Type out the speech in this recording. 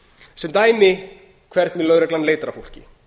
sem dæmi hvernig lögreglan leitar að fólki